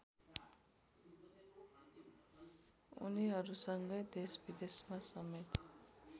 उनीहरूसँगै देशविदेशमा समेत